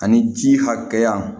Ani ji hakɛya